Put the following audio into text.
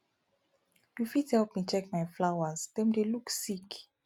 you fit help me check my flowers dem dey look sick